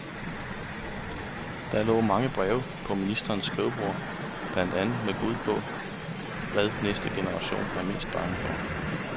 Der lå mange breve på ministerens skrivebord blandt andet med bud på, hvad næste generation er mest bange for.